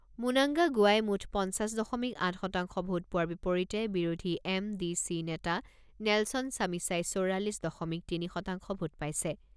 Mnangagwa গোৱাই মুঠ পঞ্চাছ দশমিক আঠ শতাংশ ভোট পোৱাৰ বিপৰীতে বিৰোধী এম ডি চি নেতা নেলছন ছামিছাই চৌৰাল্লিছ দশমিক তিনি শতাংশ ভোট পাইছে।